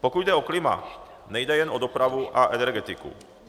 Pokud jde o klima, nejde jen o dopravu a energetiku.